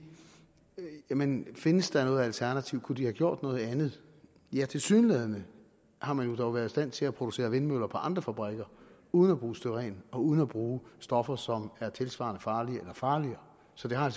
jamen findes der noget alternativ kunne de have gjort noget andet ja tilsyneladende har man dog været i stand til at producere vindmøller på andre fabrikker uden at bruge styren og uden at bruge stoffer som er tilsvarende farlige eller farligere så det har